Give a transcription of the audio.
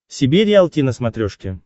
себе риалти на смотрешке